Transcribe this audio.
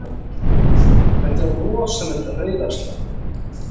Þetta er rosalegt reiðarslag!